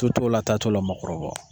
Tu t'o la ta t'o la o ma kɔrɔbɔ.